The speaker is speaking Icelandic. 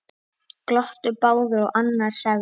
Glottu báðir og annar sagði